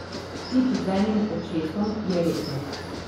Tip z enim očesom, je rekel.